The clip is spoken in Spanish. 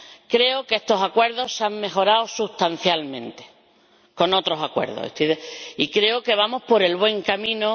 Creo que estos acuerdos han mejorado sustancialmente otros acuerdos y creo que vamos por el buen camino.